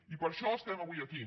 i per això estem avui aquí